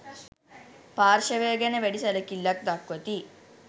පාර්ශවය ගැන වැඩි සැලකිල්ලක් දක්වති